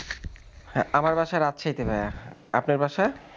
আমার বাসা রাজশাহীতে ভাইয়া. আপনার বাসা?